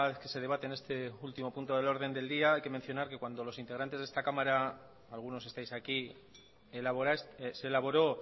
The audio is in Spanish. que se debate en este último punto del orden del día hay que mencionar que cuando los integrantes de esta cámara algunos estáis aquí se elaboró